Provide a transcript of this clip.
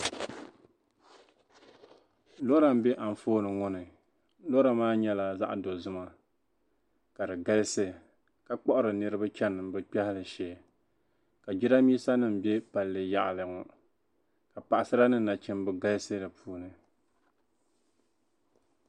Lɔra m-be anfooni ŋɔ ni. Lɔra maa nyɛla zaɣ' dozima ka di galisi ka kpiɣiri niriba chani bɛ biɛhigu shee ka jidambiisanima be palli yaɣili ŋɔ ka paɣisara ni nachimba galisi di puuni.